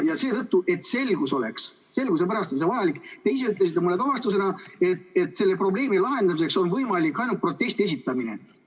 Ja seetõttu, et oleks selgus, selguse pärast on see vajalik, ka te ise ütlesite mulle vastusena, et seda probleemi on võimalik lahendada ainult protesti esitamisega.